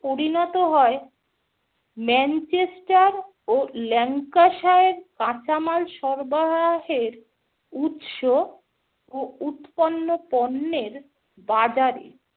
পরিণত হয় ম্যানচেস্টার ও ল্যাঙ্কাসায়ের কাঁচামাল সরবরাহের উৎস ও উৎপন্ন পণ্যের বাজারে।